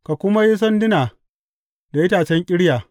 Ka kuma yi sanduna da itacen ƙirya.